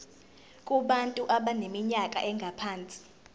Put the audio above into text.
kubantu abaneminyaka engaphansi